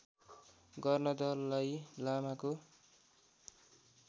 गर्न दलाइ लामाको